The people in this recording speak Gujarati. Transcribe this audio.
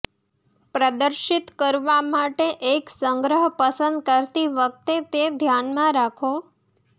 પ્રદર્શિત કરવા માટે એક સંગ્રહ પસંદ કરતી વખતે તે ધ્યાનમાં રાખો